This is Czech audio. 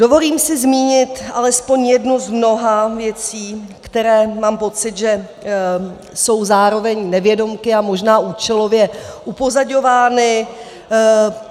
Dovolím si zmínit alespoň jednu z mnoha věcí, které, mám pocit, že jsou zároveň nevědomky, ale možná účelově upozaďovány.